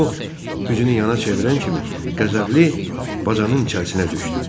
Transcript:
O, üzünü yana çevirən kimi, Qəzəbli bacanın içərisinə düşdü.